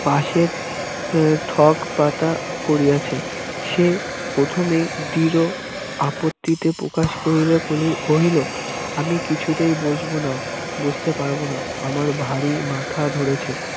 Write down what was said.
পাশের উহ ঠক পাতা করিয়াছে সে প্রথমেই দৃঢ় আপত্তিতে প্রকাশ করিয়া কহিল আমি কিছুতেই বসবো না বসতে পারবোনা আমার ভারি মাথা ধরেছে